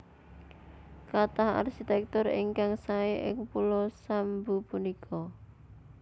Kathah arsitektur ingkang sae ing pulo Sambu punika